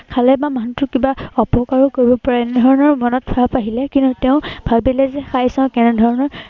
খালে বা মানুহটোৰ কিবা অপকাৰো কৰিব পাৰে, এনে ধৰনৰ মনত ভাৱ আহিলে। কিন্তু তেওঁ ভাবিলে যে খাই চাও কেনে ধৰনৰ